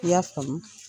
I y'a faamu